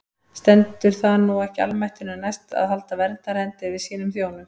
Stendur það nú ekki almættinu næst að halda verndarhendi yfir sínum þjónum?